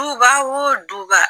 Duba o duba